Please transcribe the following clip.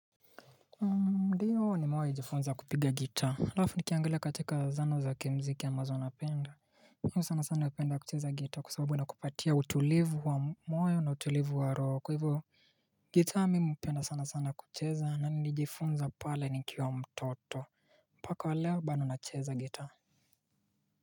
Ndiyo nimewahi jifunza kupiga gitaa halafu nikiangalia katika zana za kimziki ambazo napenda mimi sana sana hupenda kucheza gitaa kwa sababu inakupatia utulivu wa moyo na utulivu wa roho. Kwa hivyo gitaa mimi hupenda sana sana kucheza na nilijifunza pale nikiwa mtoto. Mpaka wa leo bado nacheza gitaa.